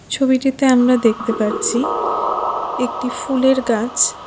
ছবিটিতে আমরা দেখতে পাচ্ছি একটি ফুলের গাছ।